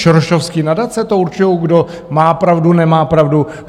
Sorosovské nadace to určují, kdo má pravdu, nemá pravdu?